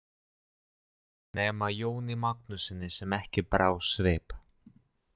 Nema Jóni Magnússyni sem ekki brá svip.